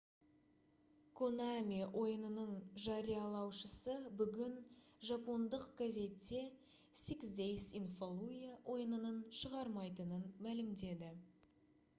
konami ойынының жариялаушысы бүгін жапондық газетте six days in fallujah ойынын шығармайтынын мәлімдеді